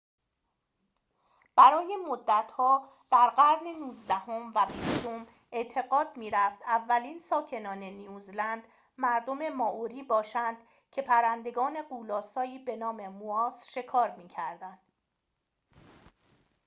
برای مدت‌ها در قرون نوزدهم و بیستم اعتقاد می‌رفت اولین ساکنان نیوزلند مردم مائوری باشند که پرندگان غول‌آسایی به‌نام مواس شکار می‌کردند